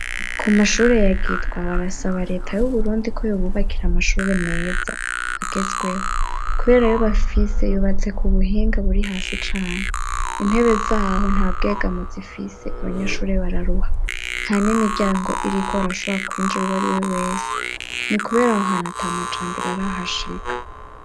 Ku mashure ya Gitwa, barasaba leta y'Uburundi ko yobubakira amashure, meza agezweho, kubera ayo bafise yubatse ku buhinga buri hasi cane; intebe z'aho nta bwegamo zifise, abanyashure bararuha, nta n'imiryango iriko, harashobora kwinjira uwo ari we wese ;ni kubera aho hantu ata majambere arahashika.